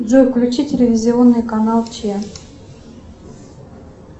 джой включи телевизионный канал че